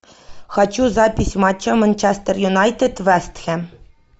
хочу запись матча манчестер юнайтед вест хэм